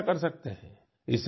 आप भी ऐसा कर सकते हैं